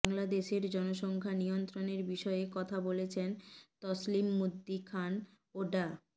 বাংলাদেশের জনসংখ্যা নিয়ন্ত্রণের বিষয়ে কথা বলেছেন তসলিমুদ্দিন খান ও ডা